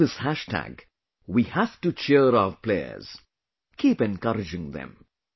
Through this hashtag, we have to cheer our players... keep encouraging them